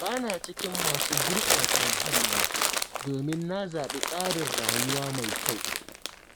Ba na cikin masu gurɓata muhalli, domin na zaɓi tsarin rayuwa mai kyau.